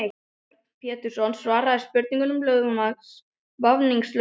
Björn Pétursson svaraði spurningum lögmanns vafningalaust.